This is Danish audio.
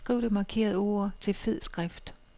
Skriv det markerede ord til fed skrift.